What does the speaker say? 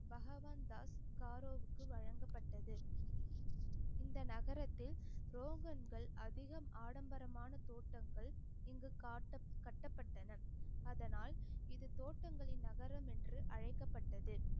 பகவான் தாஸ் காரோவுக்கு வழங்கப்பட்டது இந்த நகரத்தில் ரோகன்கள் அதிகம் ஆடம்பரமான தோட்டங்கள் இங்கு காட்ட~ கட்டப்பட்டன அதனால் இது தோட்டங்களின் நகரம் என்று அழைக்கப்பட்டது